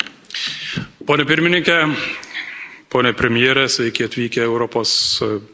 Pone pirmininke, pone premjere, sveiki atvykę į Europos Parlamentą.